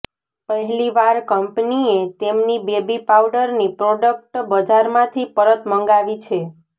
પહેલીવાર કંપનીએ તેમની બેબી પાઉડરની પ્રોડક્ટ બજારમાંથી પરત મંગાવી છે